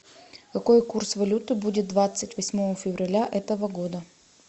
какой курс валюты будет двадцать восьмого февраля этого года